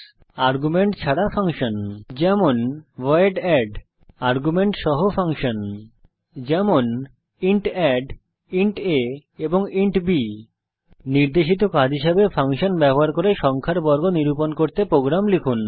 argument ছাড়া function যেমন void add argument সহ ফাংশন যেমন ইন্ট addইন্ট aইন্ট বি নির্দেশিত কাজ হিসাবে ফাংশন ব্যবহার করে একটি সংখ্যার বর্গ নিরূপণ করতে প্রোগ্রাম লিখুন